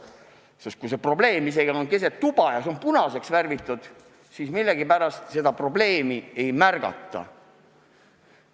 Hoolimata sellest, et probleem on olnud keset tuba ja see on punaseks värvitud, seda millegipärast ei märgata.